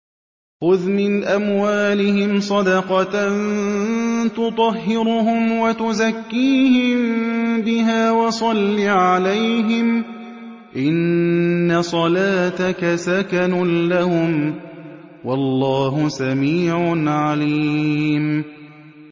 خُذْ مِنْ أَمْوَالِهِمْ صَدَقَةً تُطَهِّرُهُمْ وَتُزَكِّيهِم بِهَا وَصَلِّ عَلَيْهِمْ ۖ إِنَّ صَلَاتَكَ سَكَنٌ لَّهُمْ ۗ وَاللَّهُ سَمِيعٌ عَلِيمٌ